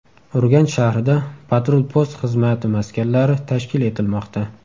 Urganch shahrida patrul-post xizmati maskanlari tashkil etilmoqda.